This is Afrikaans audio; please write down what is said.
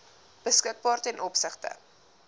beskikbaar ten opsigte